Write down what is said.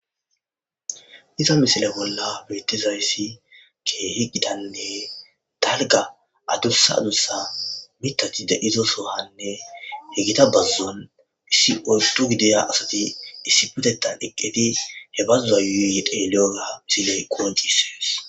Iza misile bolla beettizayssi keehi gitanne dalgga adussa adussa mittati de'iyo sohuwanne he gita bazzuwan issi oyddu gidiya asati issippetettan eqqidi he bazzuwa yuuyi yuuyi xeegalliyo misiley qonccises.